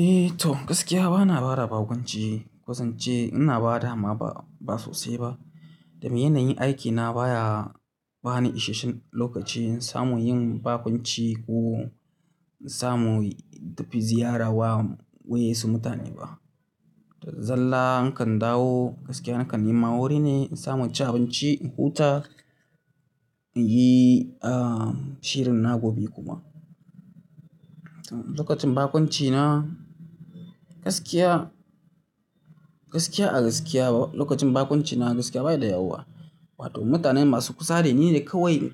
Eh to gaskiya bana ba da bakonci, ko zance ina bada amma ba sosai ba. Domin yanayin aikina baya bani ishenshen lokaci in samu yin bakunci ko in samu tafi ziyara wa wa'in su mutane ba. Zalla nakan dawo gaskiya nakan nema wuri ne in samu in ci abanci in huta, in yi ah shirin na gobe kuma. Lokacin bakuncina gaskiya, gaskiya a gaskiya lokacin bakuncina gaskiya bai da yawa. Wato mutanen masu kusa da ni ne kawai